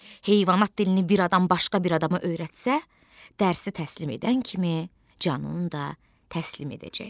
Heyvanat dilini bir adam başqa bir adama öyrətsə, dərsi təslim edən kimi canını da təslim edəcək.